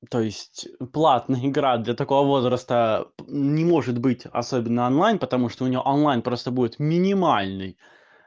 то есть платный град для такого возраста не может быть особенно онлайн потому что у неё онлайн просто будет минимальный